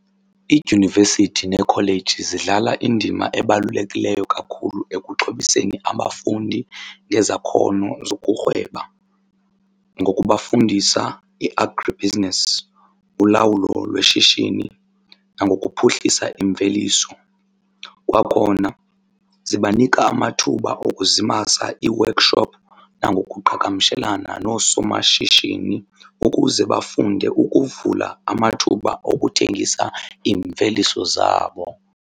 Iidyunivesithi neekholeji zidlala indima ebalulekileyo kakhulu ekuxhobiseni abafundi ngezakhono zokurhweba ngokubafundisa i-agribusiness, ulawulo lweshishini nangokuphuhlisa imveliso. Kwakhona zibanika amathuba okuzimasa ii-workshop nangokuqhagamshelena noosomashishini ukuze bafunde ukuvula amathuba okuthengisa iimveliso zabo.